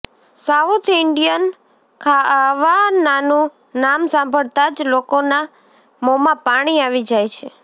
south Indian ખાવાનાનું નામ સાંભળતા જ લોકોના મોંમાં પાણી આવી જાય છે